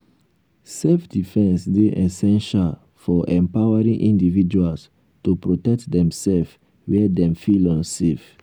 self-defense dey essential for empowering individuals to protect themself where dem feel unsafe.